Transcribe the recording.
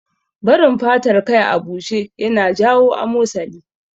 Barin fatar kai a bushe ya na iya jawo amosali